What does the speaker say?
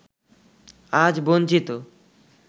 আজ বঞ্চিত